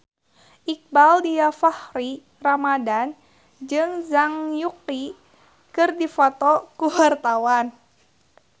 Iqbaal Dhiafakhri Ramadhan jeung Zhang Yuqi keur dipoto ku wartawan